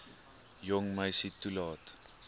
jong meisie toelaat